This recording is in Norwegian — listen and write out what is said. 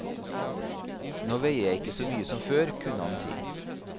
Nå veier jeg ikke så mye som før, kunne han si.